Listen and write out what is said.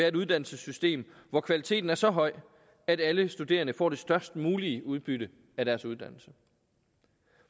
et uddannelsessystem hvor kvaliteten er så høj at alle studerende får det størst mulige udbytte af deres uddannelse